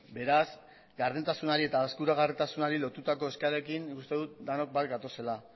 beraz gardentasunari eta eskuragarritasunari lotutako eskaerekin nik uste dut denok bat gatozela